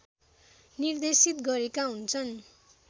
निर्देशित गरेका हुन्छन्